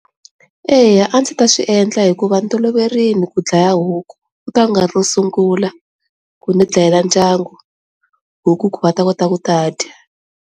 Eya, a ndzi ta swiendla hikuva ndzi toloverile ku dlaya huku ku ta va ku nga ri ro sungula ku ndzi dlayela ndyangu huku ku va ta kota ku ta dya.